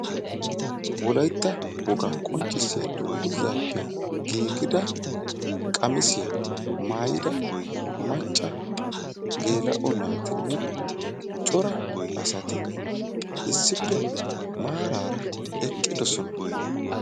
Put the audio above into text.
Wolaytta woga qonccissiya dungguzaappe giigida qamisiyaa maayida macca geela'o naatinne cora asati issippe maaraara eqqidosona.